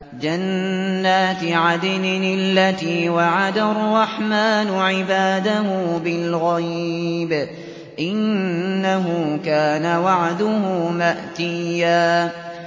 جَنَّاتِ عَدْنٍ الَّتِي وَعَدَ الرَّحْمَٰنُ عِبَادَهُ بِالْغَيْبِ ۚ إِنَّهُ كَانَ وَعْدُهُ مَأْتِيًّا